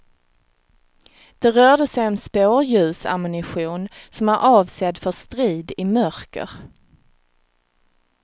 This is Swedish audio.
Det rörde sig om spårljusammunition som är avsedd för strid i mörker.